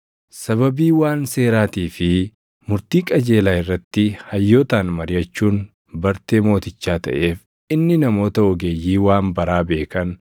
Sababii waan seeraatii fi murtii qajeelaa irratti hayyootaan mariʼachuun bartee mootichaa taʼeef inni namoota ogeeyyii waan baraa beekan